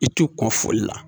I ti ko foli la